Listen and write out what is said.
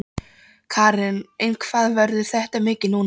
Karen: En hvað verður þetta mikið núna?